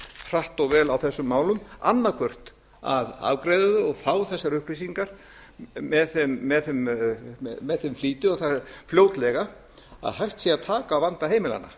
hratt og vel á þessum málum annað hvort að afgreiða þau og fá þessar upplýsingar með þeim flýti og það fljótlega að hægt sé að taka á vanda heimilanna